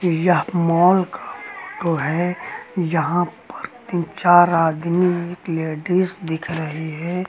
यह मॉल का फोटो है यहां पर तीन चार आदमी एक लेडिस दिख रही है।